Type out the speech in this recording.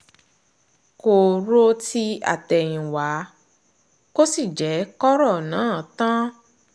kò ro ti àtẹ̀yìnwá kò sì jẹ́ kọ́rọ̀ náà tán